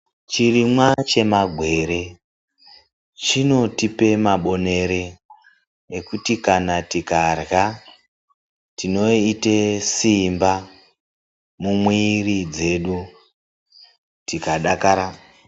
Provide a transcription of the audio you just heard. Chirimwa chema gwere chinotipa mabonere ekuti kana tikarya tinoita simba mumwiri dzedu tikadakara.